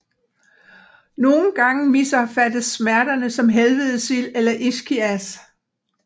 Nogle gange misopfattes smerterne som helvedesild eller ischias